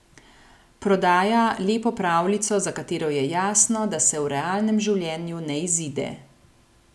Prodaja lepo pravljico za katero je jasno, da se v realnem življenju ne izide.